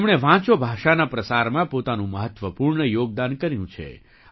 તેમણે વાંચો ભાષાના પ્રસારમાં પોતાનું મહત્ત્વપૂર્ણ યોગદાન કર્યું છે